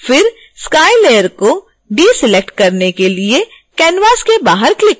फिर sky layer को deselect करने के लिए canvas के बाहर क्लिक करें